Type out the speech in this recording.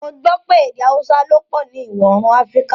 Mo gbọ̀ pẹ̀ èdè Àúsà ló pọ ni Iwọ-oorun Afíríkà